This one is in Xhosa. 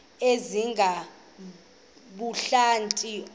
ongenabuhlanti akukho mzi